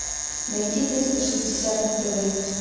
найти триста шестьдесят на тв